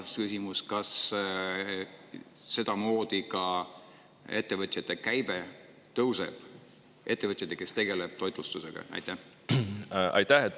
Teine küsimus: kas sedamoodi tõuseb käive ka ettevõtjatel, kes tegelevad toitlustusega?